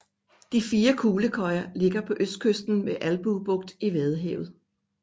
De fire fuglekøjer ligger på østkysten ved Albue Bugt i Vadehavet